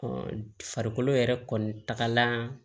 farikolo yɛrɛ kɔni tagala